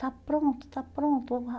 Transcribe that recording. está pronto, está pronto.